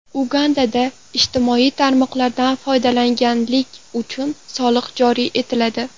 Ugandada ijtimoiy tarmoqlardan foydalanganlik uchun soliq joriy etiladi.